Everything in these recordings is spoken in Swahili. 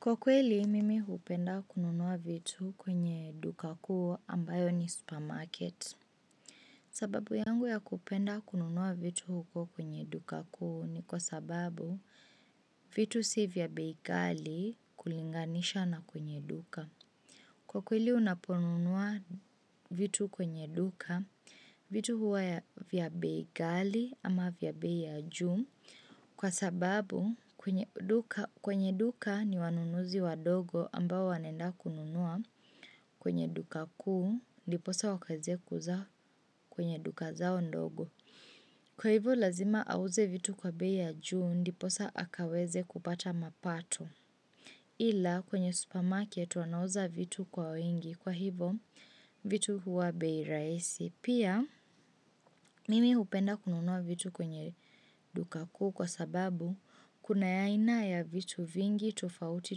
Kwa kweli, mimi hupenda kununua vitu kwenye duka kuu ambayo ni supermarket. Sababu yangu ya kupenda kununua vitu huko kwenye duka kuu ni kwa sababu vitu si vya bei ghali kulinganisha na kwenye duka. Kwa kweli unaponunua vitu kwenye duka, vitu huwa vya bei ghali ama vya bei ya juu, kwa sababu kwenye kwenye duka ni wanunuzi wadogo ambao wanaenda kununua kwenye duka kuu, ndiposa wakaeze kuuza kwenye duka zao ndogo. Kwa hivo lazima auze vitu kwa bei ya juu ndiposa akaweze kupata mapato. Ila kwenye supermarket wanauza vitu kwa wingi kwa hivo vitu huwa bei rahisi. Pia mimi hupenda kununua vitu kwenye duka kuu kwa sababu kuna ya aina ya vitu vingi tofauti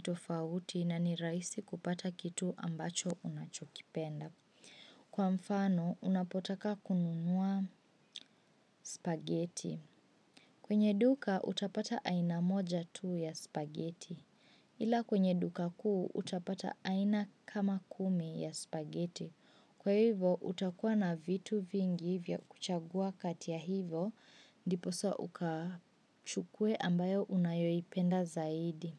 tofauti na ni rahisi kupata kitu ambacho unachokipenda. Kwa mfano, unapotaka kununua spaghetti. Kwenye duka, utapata aina moja tu ya spageti. Ila kwenye duka kuu, utapata aina kama kumi ya spaghetti. Kwa hivo, utakuwa na vitu vingi vya kuchagua kati ya hivo, ndiposa ukachukue ambayo unayoipenda zaidi.